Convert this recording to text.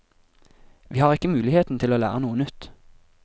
Vi har ikke muligheten til å lære noe nytt.